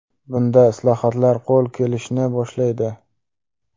Bunda islohotlar qo‘l kelishni boshlaydi.